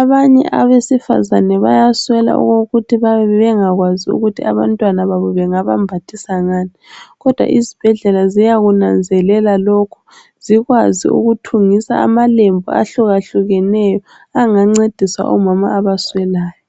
Abanye abesifazana bayaswela okokuthi bayabe bengakwazi ukuthi abantwababo bengabambathisa ngani, kodwa izibhedlela ziyakunanzelela lokho, zikwazi ukuthungisa amalembu ahlukahlukeneyo angancedisa omama abaswelayo.